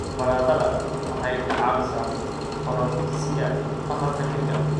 Baradhada waxay ka caawisaa korodhsiga tamarta jirka.